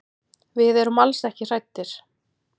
Við erum alls ekki hræddir.